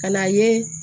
Ka n'a ye